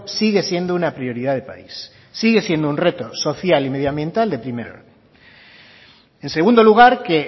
sigue siendo una prioridad de país sigue siendo un reto social y medio ambiental de primer orden en segundo lugar que